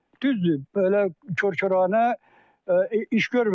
Düzdür, belə kor-koranə iş görməmişəm.